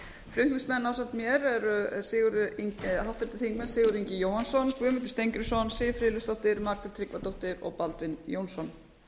flutningsmenn ásamt mér eru háttvirtir þingmenn sigurður ingi jóhannsson guðmundur steingrímsson siv friðleifsdóttir margrét tryggvadóttir og baldvin jónsson